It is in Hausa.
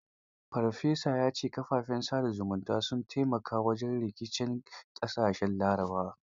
Farfesa ya ce kafafen sa da zumunta sun taimaka wajen rikicin ƙashashen Larabawa.